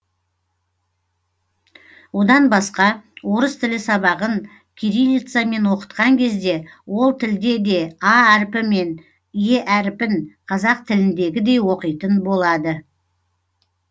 одан басқа орыс тілі сабағын кириллицамен оқытқан кезде ол тілде де а әріпі пен е әріпін қазақ тіліндегідей оқитын болады